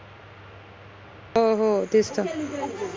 हो हो तेच त